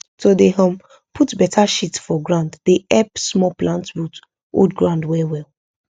to dey um put beta shit for ground dey help small plant root hold ground well well